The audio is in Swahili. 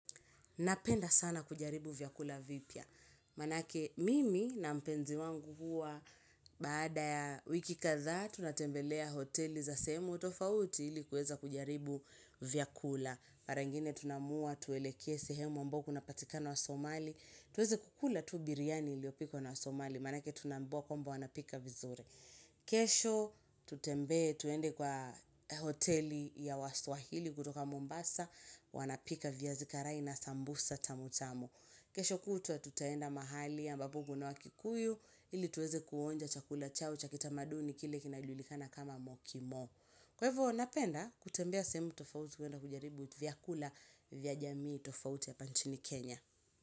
Napenda sana kujaribu vyakula vipya. Maanake mimi na mpenzi wangu huwa baada ya wiki kadha tunatembelea hoteli za sehemu tofauti ilikuweza kujaribu vyakula. Parangine tunamua, tueleke sehemu ambapo wanapatikana wa Somali. Tueze kukula tu biryani iliopikwa na wa Somali. Maanake tunambiwa kwamba wanapika vizure. Kesho tutembe, tuende kwa hoteli ya waswahili kutoka Mombasa. Wanapika viazi karai na sambusa tamu tamu kesho kutua tutaenda mahali ambapo ungu na wakikuyu ili tuweze kuonja chakula chao chakita maduni kile kinajulikana kama mokimo Kwa hivo napenda kutembea sehemu tofauti kuenda kujaribu vya kula vya jamii tofauti ya hapa nchini Kenya.